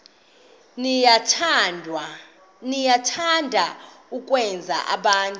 niyathanda ukwenza abantu